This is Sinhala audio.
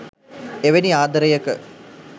එවැනි ආදරයක